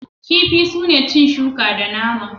Kifi sune cin shuka da nama.